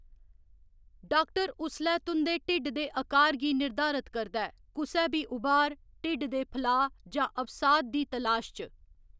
Doctor उसलै तुं'दे ढिड्ड दे अकार गी निर्धारत करदा ऐ, कुसै बी उभार, ढिड्ड दे फलाऽ जां अवसाद दी तलाश च।